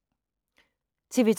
TV 2